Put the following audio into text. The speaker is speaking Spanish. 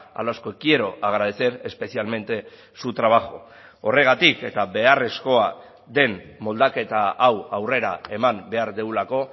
a los que quiero agradecer especialmente su trabajo horregatik eta beharrezkoa den moldaketa hau aurrera eman behar dugulako